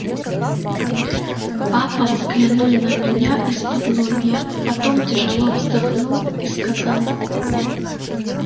папа взглянул на меня исподлобья потом тяжело вздохнул и сказал